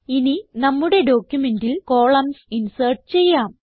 ഇനി നമ്മുടെ ഡോക്യുമെന്റിൽ കോളംൻസ് ഇൻസേർട്ട് ചെയ്യാം